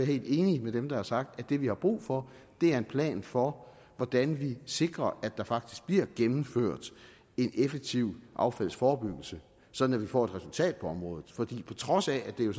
helt enig med dem der har sagt at det vi har brug for er en plan for hvordan vi sikrer at der faktisk bliver gennemført en effektiv affaldsforebyggelse sådan at vi får et resultat på området for på trods af at det jo